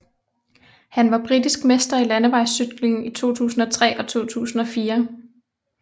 Han var britisk mester i landevejscykling i 2003 og 2004